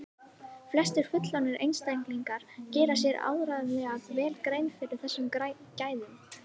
flestir fullorðnir einstaklingar gera sér áreiðanlega vel grein fyrir þessum gæðum